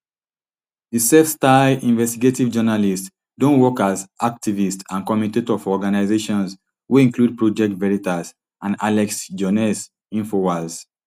di selfstyled investigative journalist don work as activist and commentator for organisations wey include project veritas and alex joness infowars